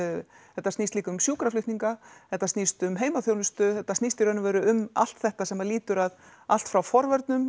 þetta snýst líka um sjúkraflutningar þetta snýst um heimaþjónustu þetta snýst í raun og veru um allt þetta sem að lýtur allt frá forvörnum